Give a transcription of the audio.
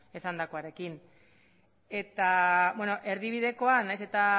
esandakoarekin eta erdibidekoa nahiz eta